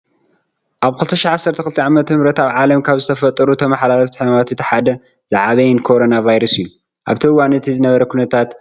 ኣብ 2012 ዓ/ምኣብ ዓለም ካብ ዝተፈጠሩ ተመሓላለፍቲ ሕማማት እቲ ሓደን ዝዐበየን ኮረና ቫይረስ እዩ። ኣብቲ እዋን እቲ ዝነበረ ኩነታት ንምዝካር አይደልን።